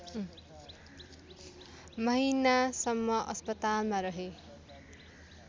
महिनासम्म अस्पतालमा रहे